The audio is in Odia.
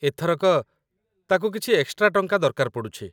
ଏଥରକ, ତାକୁ କିଛି ଏକ୍‌ସ୍ଟ୍ରା ଟଙ୍କା ଦରକାର ପଡ଼ୁଛି